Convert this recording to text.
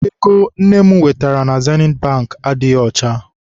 Ego nne m wetara na Zenit Bankị adịghị ọcha.